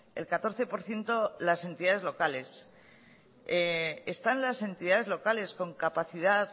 el catorce por ciento las entidades locales están las entidades locales con capacidad